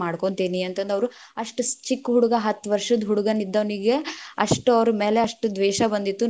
ಮಾಡ್ಕೊಂತೀನಿ ಅಂತ ಅಂದ ಅವ್ರ್‌ ಅಷ್ಟ ಚಿಕ್ಕಹುಡುಗಾ ಹತ್ ವಷ೯ದ್‌ ಹುಡುಗ್ ನಿದ್ದೋನಿಗ ಅಷ್ಟ ಅವ್ರ ಮ್ಯಾಲ ಅಷ್ಟ ದ್ವೇಷ ಬಂದಿತ್ತು.